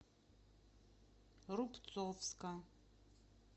рубцовска